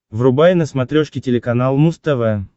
врубай на смотрешке телеканал муз тв